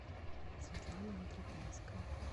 светлана антропянская